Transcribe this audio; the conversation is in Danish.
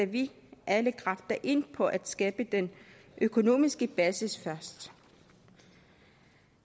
vi alle kræfter ind på at skabe den økonomiske basis først